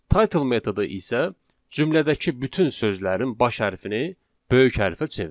Title metodu isə cümlədəki bütün sözlərin baş hərfini böyük hərfə çevirir.